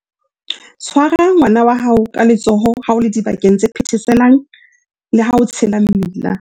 Tshwara ngwana wa hao ka letsoho ha o le dibakeng tse phetheselang le ha o tshela mmila.